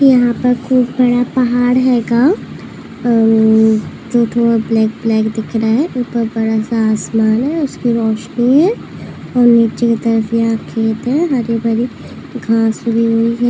यहाँ पर कुछ बड़ा पहाड़ है गा। आ- थोड़ा ब्लैक ब्लैक दिख रहा है। ऊपर बड़ा सा आसमान है। उसकी रोशनी है और नीचे की तरफ यहाँ खेत है। हरे भरे घास--